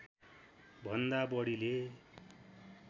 भन्दा बढीले